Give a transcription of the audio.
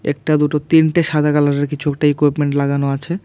একটা দুটো তিনটে সাদা কালারের কিছু একটা ইকিউভমেন্ট লাগানো আছে।